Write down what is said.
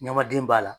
Ɲamaden b'a la